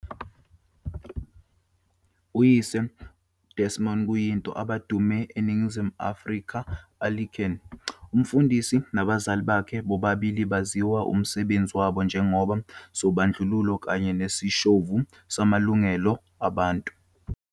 Uyise Desmond kuyinto abadumile eNingizimu Afrika Anglican umfundisi, nabazali bakhe bobabili baziwa umsebenzi wabo njengoba sobandlululo kanye nezishoshovu zamalungelo abantu.